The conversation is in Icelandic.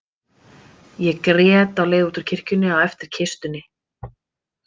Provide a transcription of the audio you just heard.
Ég grét á leið út úr kirkjunni á eftir kistunni.